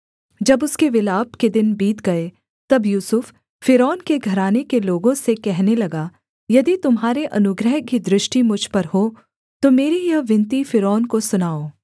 जब उसके विलाप के दिन बीत गए तब यूसुफ फ़िरौन के घराने के लोगों से कहने लगा यदि तुम्हारे अनुग्रह की दृष्टि मुझ पर हो तो मेरी यह विनती फ़िरौन को सुनाओ